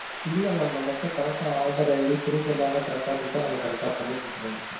இல்ல mam நமக்கிட்ட Aadhaar id proof எல்லாமே correct ஆ குடுத்தா நம்ம correct ஆ குடுத்துருவோம் mam